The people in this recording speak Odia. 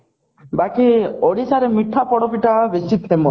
ବାକି ଓଡିଶାରେ ମିଠା ପୋଡପିଠା ବେଶୀ famous